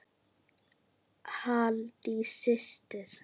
Halldís systir.